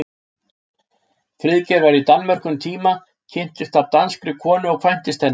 Friðgeir var í Danmörku um tíma, kynntist þar danskri konu og kvæntist henni.